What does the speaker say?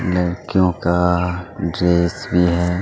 लड़कियों का ड्रेस भी है।